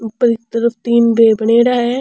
ऊपर की तरफ तीन पे बनेड़ा है।